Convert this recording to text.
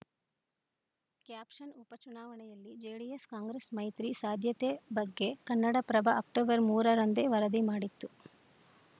caption ಉಪಚುನಾವಣೆಯಲ್ಲಿ JDS Congress ಮೈತ್ರಿ ಸಾಧ್ಯತೆ ಬಗ್ಗೆ ಕನ್ನಡಪ್ರಭ ಅಕ್ಟೋಬರ್ ಮೂರರಂದೇ ವರದಿ ಮಾಡಿತ್ತು